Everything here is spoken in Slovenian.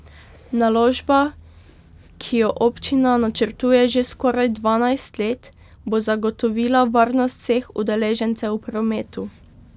Naložba, ki jo občina načrtuje že skoraj dvanajst let, bo zagotovila varnost vseh udeležencev v prometu.